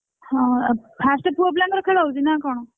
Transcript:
ହଁ first ପୁଅ ପିଲାଙ୍କର ଖେଳ ହଉଛି ନା କଣ?